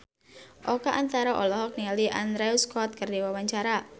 Oka Antara olohok ningali Andrew Scott keur diwawancara